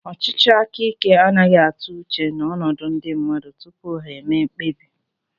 Ọchịchị aka ike anaghị atụ uche n'ọnọdụ ndị mmadụ tupu ha emee mkpebi